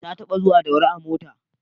Ta taɓa zuwa Daura a mota